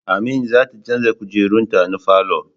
Amin zata canza kujerun ta na falo